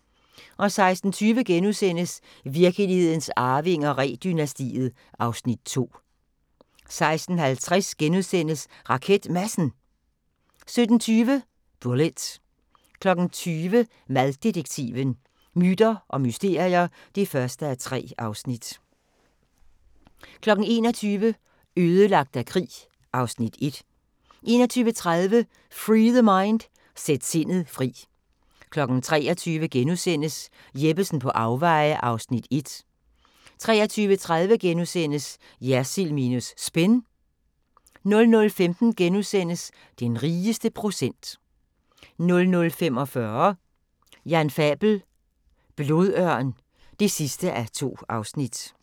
16:20: Virkelighedens Arvinger: Ree-dynastiet (2:6)* 16:50: RaketMadsen * 17:20: Bullitt 20:00: Maddetektiven: Myter og mysterier (1:3) 21:00: Ødelagt af krig (Afs. 1) 21:30: Free The Mind – Sæt sindet fri 23:00: Jeppesen på afveje (1) * 23:30: Jersild minus Spin * 00:15: Den rigeste procent (2:6)* 00:45: Jan Fabel: Blodørn (2:2)